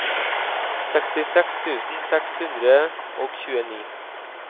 sekstiseks tusen seks hundre og tjueni